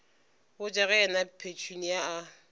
botša ge yena petunia a